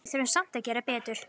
Við þurfum samt að gera betur